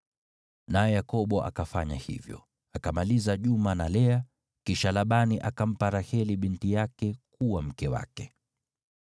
Naye Yakobo akafanya hivyo. Akamaliza juma na Lea, kisha Labani akampa Raheli binti yake kuwa mke wake.